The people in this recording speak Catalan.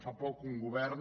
fa poc un govern